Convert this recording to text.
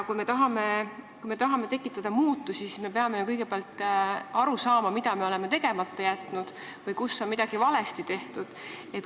Kui me tahame tekitada muutusi, siis me peame ju kõigepealt aru saama, mida me oleme tegemata jätnud või kus on midagi valesti tehtud.